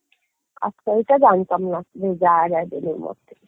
আচ্ছা এটা জানতামনা যে যাওয়া যায় বেলুর মঠে